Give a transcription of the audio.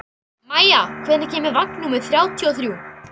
Maia, hvenær kemur vagn númer þrjátíu og þrjú?